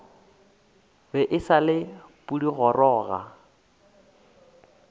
be e sa le pudigoroga